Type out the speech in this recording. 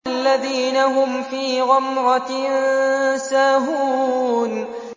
الَّذِينَ هُمْ فِي غَمْرَةٍ سَاهُونَ